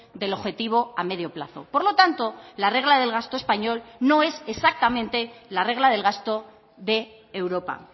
del objetivo a medio plazo por lo tanto la regla del gasto español no es exactamente la regla del gasto de europa